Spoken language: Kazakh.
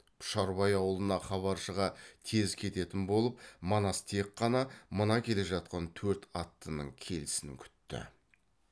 пұшарбай аулына хабаршыға тез кететін болып манас тек қана мына келе жатқан төрт аттының келісін күтті